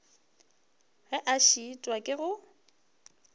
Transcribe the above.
ge a šitwa ke go